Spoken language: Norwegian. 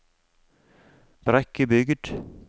Brekkebygd